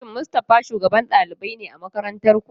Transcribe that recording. Shin Mustafa shugaban ɗalibai ne a makarantar ku?